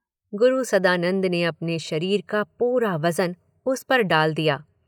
गुरु सदानंद ने अपने शरीर का पूरा वज़न उस पर डाल दिया।